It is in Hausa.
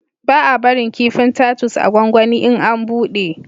Ba a barin kifin tatus a gwanwani in an buɗe